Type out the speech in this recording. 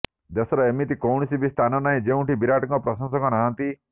ଦେଶର ଏମିତି କୌଣସି ବି ସ୍ଥାନ ନାହିଁ ଯେଉଁଠି ବିରାଟଙ୍କ ପ୍ରଶଂସକ ନାହାନ୍ତି